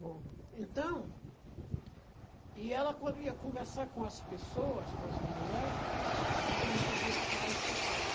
Bom, então... E ela, quando ia conversar com as pessoas, com as mulher, a gente não podia ficar escutando.